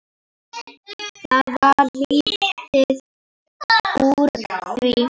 Það varð lítið úr því.